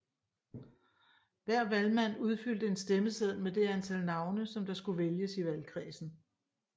Hver valgmand udfyldte en stemmeseddel med det antal navne som der skulle vælges i valgkredsen